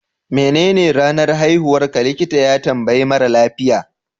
menene ranar haihuwarka, likita ya tambayi mara lafiya